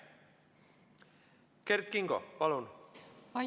Kert Kingo, palun!